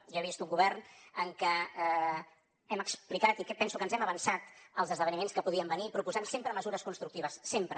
jo he vist un govern en què hem explicat i penso que ens hem avançat als esdeveniments que podien venir i proposat sempre mesures constructives sempre